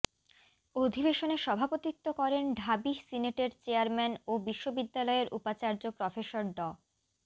অধিবেশনে সভাপতিত্ব করেন ঢাবি সিনেটের চেয়ারম্যান ও বিশ্ববিদ্যালয়ের উপাচার্য প্রফেসর ড